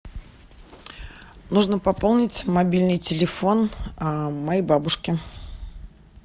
нужно пополнить мобильный телефон моей бабушки